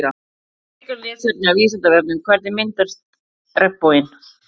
Frekara lesefni af Vísindavefnum Hvernig myndast regnboginn?